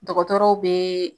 Dɔgɔtɔrɔw be